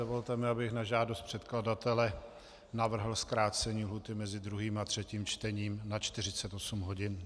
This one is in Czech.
Dovolte mi, abych na žádost předkladatele navrhl zkrácení lhůty mezi 2. a 3. čtením na 48 hodin.